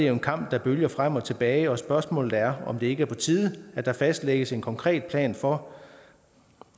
en kamp der bølger frem og tilbage og spørgsmålet er om det ikke er på tide at der fastlægges en konkret plan for